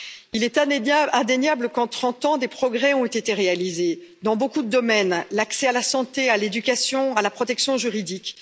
Il est indéniable, qu'en trente ans, des progrès ont été réalisés dans beaucoup de domaines l'accès à la santé, à l'éducation, à la protection juridique.